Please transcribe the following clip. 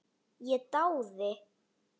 Ég dáði